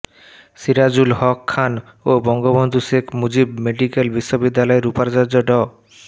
সিরাজুল হক খান ও বঙ্গবন্ধু শেখ মুজিব মেডিকেল বিশ্ববিদ্যালয়ের উপাচার্য ড